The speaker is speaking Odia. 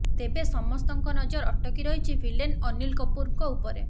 ତେବେ ସମସ୍ତଙ୍କ ନଜର ଅଟକି ରହିଛି ଭିଲେନ ଅନୀଲ କପୁରଙ୍କ ଉପରେ